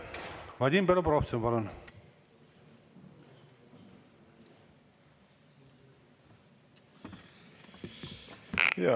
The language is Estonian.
Vadim Belobrovtsev, palun!